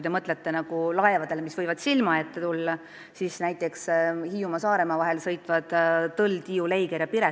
Mõelge laevadele, mis võiksid teile silma ette tulla, näiteks Hiiumaa ja Saaremaa vahet sõitvatele Tõllule, Leigerile, Tiiule ja Piretile.